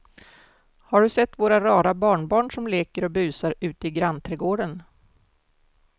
Har du sett våra rara barnbarn som leker och busar ute i grannträdgården!